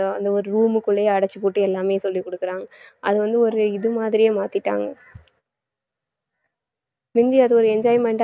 அந்த ஒரு room க்குள்ளேயே அடைச்சுப் போட்டு எல்லாமே சொல்லிக் கொடுக்கிறாங்க அது வந்து ஒரு இது மாதிரியே மாத்திட்டாங்க முந்தி அது ஒரு enjoyment ஆ